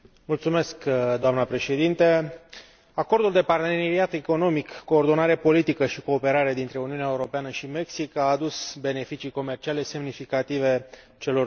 Doamnă președinte, Acordul de parteneriat economic, coordonare politică și cooperare dintre Uniunea Europeană și Mexic a adus beneficii comerciale semnificative celor două părți.